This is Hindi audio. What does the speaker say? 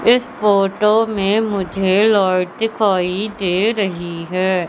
इस फोटो में मुझे लाइट दिखाई दे रही है।